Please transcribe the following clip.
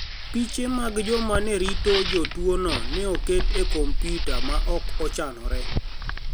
Piche mag joma ni e rito jotuwono ni e oket e kompyuta ma ok ochanore.